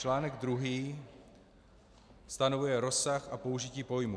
Článek druhý stanovuje rozsah a použití pojmů.